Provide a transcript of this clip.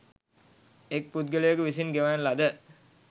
එක් පුද්ගලයෙකු විසින් ගෙවන ලද